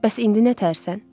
Bəs indi nətərsən?